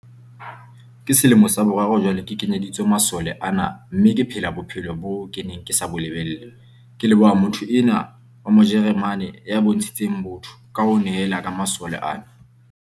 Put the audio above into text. "Ke selemo sa boraro jwale ke kenyeditswe masole ana mme ke phela bophelo boo ke neng ke sa bo lebella, ke leboha motho enwa wa Mo jeremane ya bontshitseng botho ka ho nehela ka masole ana."